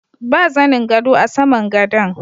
Ba zanin gado a saman gadon.